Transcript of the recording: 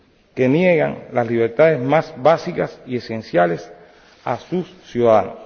que niegan las libertades más básicas y esenciales a sus ciudadanos.